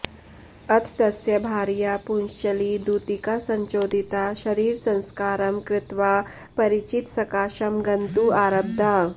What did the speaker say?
अथ तस्य भार्या पुंश्चली दूतिकासञ्चोदिता शरीरसंस्कारं कृत्वा परिचितसकाशं गन्तुं आरब्धा